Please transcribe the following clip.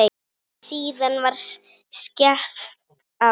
Síðan var skellt á.